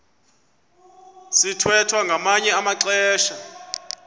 sithwethwa ngamanye amaxesha